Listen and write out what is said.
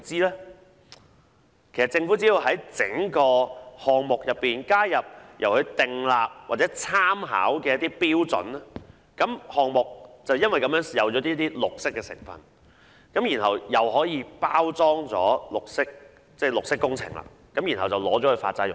其實，政府只要在整個項目中加入由其訂立或參考的標準，項目便有少許"綠色"成分，可以包裝成綠色工程，然後用作發債融資。